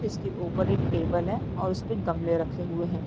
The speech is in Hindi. इसके ऊपर एक टेबल है और उसपे गमले रखे हुए हैं।